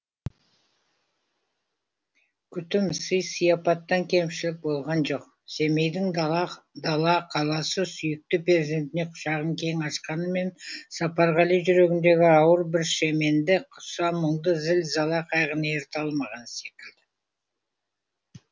күтім сый сияпаттан кемшілік болған жоқ семейдің дала дала қаласы сүйікті перзентіне құшағын кең ашқанмен сапарғали жүргенідегі ауыр бір шеменді құса мұңды зіл зала қайғыны еріте алмаған секілді